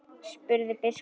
Ólafur Ingi.